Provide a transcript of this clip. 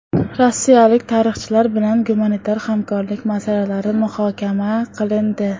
Rossiyalik tarixchilar bilan gumanitar hamkorlik masalalari muhokama qilindi.